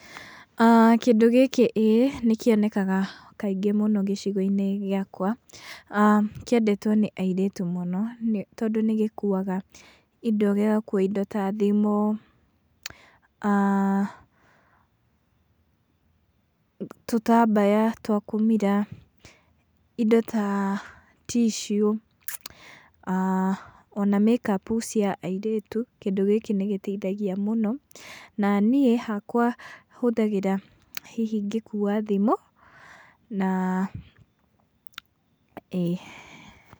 Kĩndũ gĩkĩ ĩĩ nĩ kĩonekaga kaingĩ gĩcigo-inĩ ĩakwa. Kĩendetwo nĩ airĩtu mũno tondũ nĩ gĩkuaga indo mũno, gĩgakua indo ta thimũ, tũtambaya twa kũmira, indo ta ticiũ ona make up cia airĩtu. Kĩndũ gĩkĩ nĩ gĩteithagia mũno na niĩ hakwa hũthagĩra hihi ngĩkua thimũ na ĩĩ.